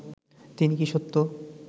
তিনি কি সত্য